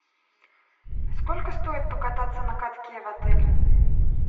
сколько стоит покататься на катке в отеле